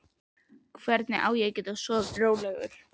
Hvernig á ég að geta sofið rólegur?